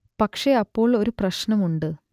പക്ഷെ അപ്പോൾ ഒരു പ്രശ്നം ഉണ്ട്